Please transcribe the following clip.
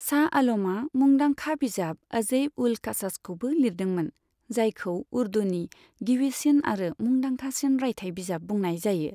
शाह आलमआ मुंदांखा बिजाब अजैब उल कसासखौबो लिरदोंमोन, जायखौ उर्दुनि गिबिसिन आरो मुंदांखासिन राइथाइ बिजाब बुंनाय जायो।